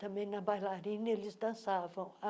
Também na bailarina, eles dançavam.